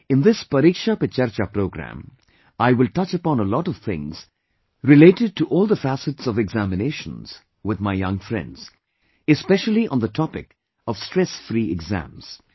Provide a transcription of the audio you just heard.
In this 'Pariksha Pe Charcha' program, I will touch upon a lot of things related to all the facets of examinations with my young friends, especially on the topic of stress free exams